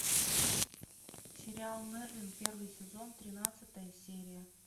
сериал мерлин первый сезон тринадцатая серия